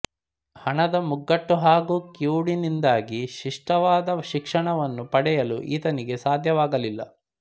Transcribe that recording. ಹಣದ ಮುಗ್ಗಟ್ಟು ಹಾಗೂ ಕಿವುಡಿನಿಂದಾಗಿ ಶಿಷ್ಟವಾದ ಶಿಕ್ಷಣವನ್ನು ಪಡೆಯಲು ಈತನಿಗೆ ಸಾಧ್ಯವಾಗಲಿಲ್ಲ